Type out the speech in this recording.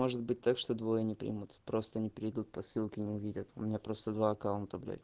может быть так что двое не примут просто не перейдут по ссылке не увидят у меня просто два аккаунта блять